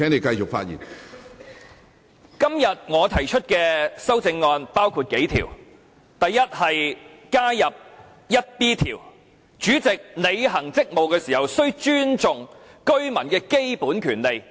第一，在《議事規則》加入第 1B 條，以訂明主席履行職務時須尊重香港居民的基本權利。